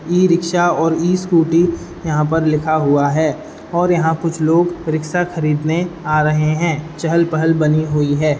ई rickshaw और e scooty यहां पर लिखा हुआ है और यहाँ कुछ लोग रिक्शा खरीदने आ रहे हैं चहल पहल बनी हुई है ।